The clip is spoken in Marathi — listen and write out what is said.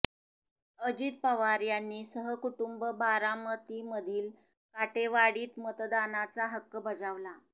अजित पवार यांनी सहकुटूंब बारामतीमधील काटेवाडीत मतदानाचा हक्क बजावला